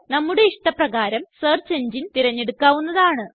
നമ്മുടെ ഇഷ്ടപ്രകാരമുള്ള സെർച്ച് എങ്ങിനെ തിരഞ്ഞെടുക്കാവുന്നതാണ്